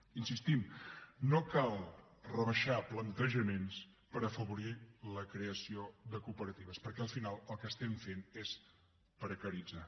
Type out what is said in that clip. hi insistim no cal rebaixar plantejaments per afavorir la creació de cooperatives perquè al final el que estem fent és precaritzar